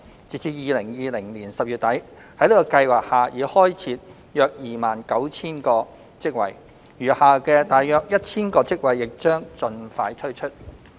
截至2020年10月底，在這計劃下已開設約 29,000 個職位，餘下的約 1,000 個職位亦將盡快推出。